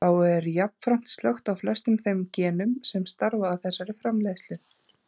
Þá er jafnframt slökkt á flestum þeim genum sem starfa að þessari framleiðslu.